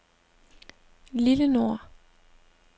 Lillenor